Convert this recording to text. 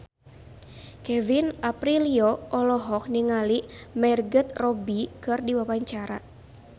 Kevin Aprilio olohok ningali Margot Robbie keur diwawancara